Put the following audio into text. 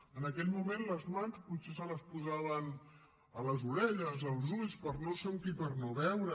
en aquell moment les mans potser se les posaven a les orelles als ulls per no sentir i per no veure